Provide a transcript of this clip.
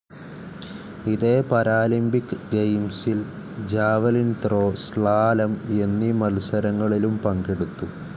ഇതേ പാരാലിമ്പിക് ഗെയിംസിൽ javelin throw, slalom എന്നീ മത്സരങ്ങളിലും പങ്കെടുത്തു.